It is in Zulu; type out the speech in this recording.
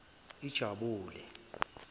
ijabule